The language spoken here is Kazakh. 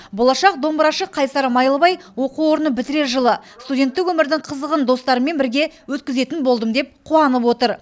болашақ домбырашы қайсар майлыбай оқу орнын бітірер жылы студенттік өмірдің қызығын достарыммен бірге өткізетін болдым деп қуанып отыр